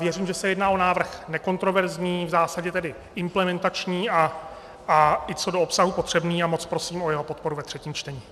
Věřím, že se jedná o návrh nekontroverzní, v zásadě tedy implementační a i co do obsahu potřebný, a moc prosím o jeho podporu ve třetím čtení.